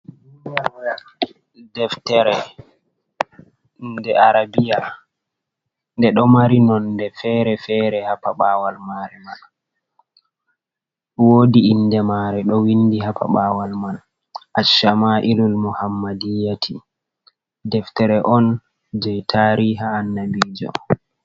Deftere nde arabiya. Nde ɗo mari nonde fere-fere ha paɓawal mare man. Wodi inde mare ɗo windi. Ha paɓawal man Ashama’ilul Muhammadiyati. Deftere on jei tariha Annabiijo.